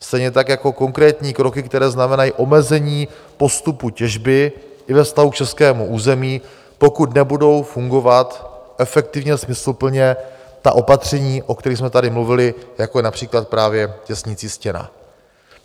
Stejně tak jako konkrétní kroky, které znamenají omezení postupu těžby i ve vztahu k českému území, pokud nebudou fungovat efektivně a smysluplně ta opatření, o kterých jsme tady mluvili, jako je například právě těsnicí stěna.